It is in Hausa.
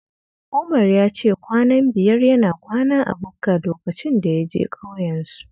Umar ya ce kwanan biyar yana kwana a bukka lokacin da ya je ƙauyensu